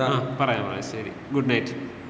ങ്ങാ പറയാം പറയാം ശരി. Good night.